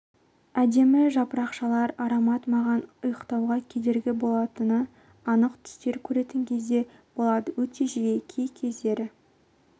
әдемі жапырақшалар аромат маған ұйықтауға кедергі болатын анық түстер көретін кездер болады өте жиі кей кездері